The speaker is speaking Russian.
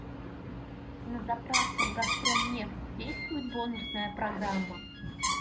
на заправках газпромнефть действует бонусная программа